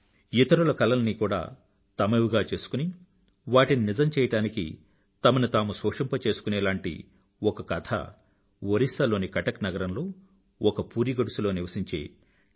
ఇతరుల కలల్ని కూడా తమవిగా చేసుకుని వాటిని నిజం చేయ్యడానికి తమని తాము శోషింప చేసుకునేలాంటి ఒక కథ ఒరిస్సా లోని కటక్ నగరంలో ఒక పూరి గుడిసె లో నివసించే డి